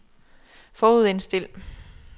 forudindstil